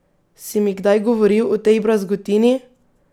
Si mi kdaj govoril o tej brazgotini?